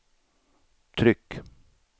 tryck